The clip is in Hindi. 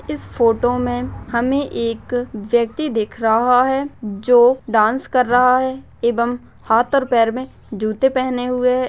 इस फोटो में हमे एक व्यक्ति दिख रहा है जो डांस कर रहा है एवं हाथ और पैर में जुत्ते पहने हुए है।